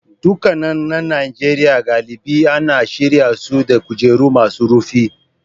Ɗakunan na Najeriya galibi ana shirya su da kujeru masu rufi.